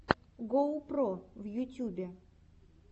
гоу про в ютюбе